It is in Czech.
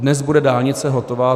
Dnes bude dálnice hotova.